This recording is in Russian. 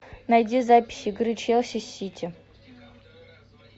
найди запись игры челси с сити